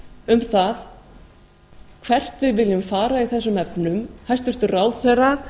um það hvert við viljum fara í þessum efnum hæstvirtur ráðherra